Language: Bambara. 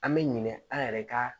An bɛ ɲinɛ an yɛrɛ ka